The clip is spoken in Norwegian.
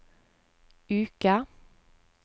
uke